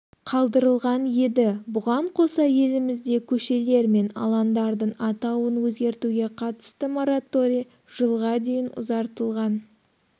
қадырылған еді бұған қоса елімізде көшелер мен алаңдардың атауын өзгертуге қатысты мораторий жылға дейін ұзартылған